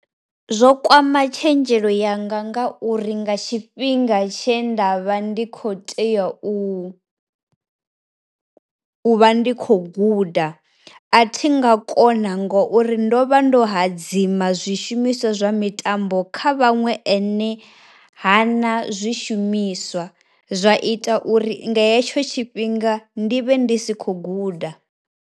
Zwo kwama tshenzhelo yanga nga uri nga tshifhinga tshe nda vha ndi kho tea u u vha ndi khou guda, a thi nga kona ngo uri ndo vha ndo hadzima zwi shumiswa zwa mitambo kha vhaṅwe nae ha na zwi shumiswa, zwa ita uri nga hetsho tshifhinga ndi vhe ndi si khou guda.